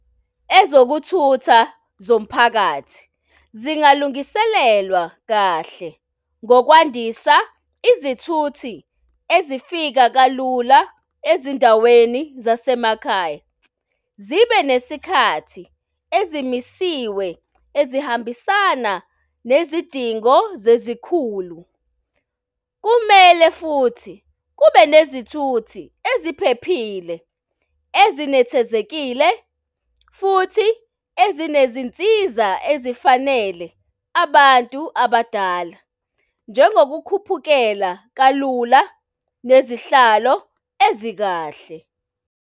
Ezokuthutha zomphakathi zingalungiselewa kahle ngokwandisa izithuthi ezifika kalula ezindaweni zasemakhaya zibe nesikhathi ezimisiwe, ezihambisana nezidingo zezikhulu. Kumele futhi kube nezithuthi eziphephile ezinethezekile futhi ezinezinsiza ezifanele abantu abadala, njengokukhuphukela kalula nezihlalo ezikahle.